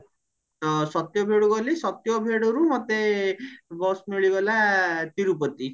ଆହନ ସତ୍ୟଭେଡୁ ଗଲେ ସତ୍ୟଭେଡରୁ ମତେ bus ମିଳିଗଲା ତିରୁପତି